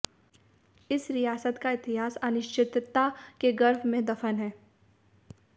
इस रियासत का इतिहास अनिश्चितता के गर्भ में दफन है